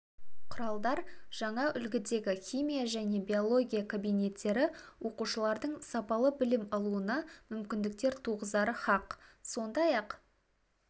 құралдар жаңа үлгідегі химия және биология кабинеттері оқушылардың сапалы білім алуына мүмкіндіктер туғызары хақ сондай-ақ